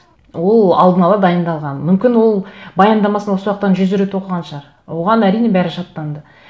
ол алдын ала дайындалған мүмкін ол баяндамасын осы уақыттан жүз рет оқыған шығар оған әрине бәрі жаттанды